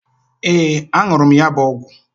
Ee, a nuru m ya bu ogwu